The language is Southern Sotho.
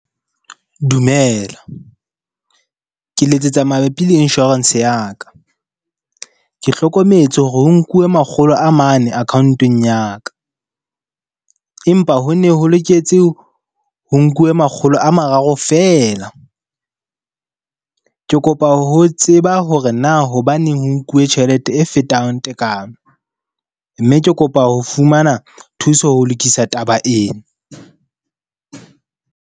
Dumela, ke letsetsa mabapi le insurance ya ka. Ke hlokometse hore ho nkuwe makgolo a mane account-ong ya ka, empa hone ho loketse ho nkuwe makgolo a mararo feela. Ke kopa ho tseba hore na hobaneng ho nkuwe tjhelete e fetang tekano, mme ke kopa ho fumana thuso ho lokisa taba ena.